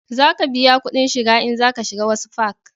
Za ka biya kudin shiga in za ka shiga wasu fak